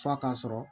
F'a ka sɔrɔ